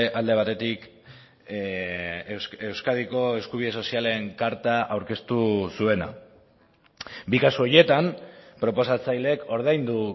alde batetik euskadiko eskubide sozialen karta aurkeztu zuena bi kasu horietan proposatzaileek ordaindu